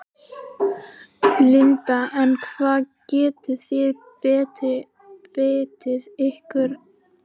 Linda: En hvar getið þið beitt ykkur af einhverjum krafti?